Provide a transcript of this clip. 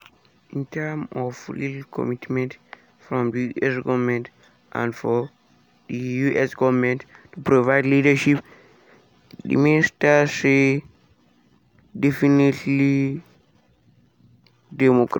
“in terms of real commitment from di us goment and for di us goment to provide leadership” di minister say "definitely democrats".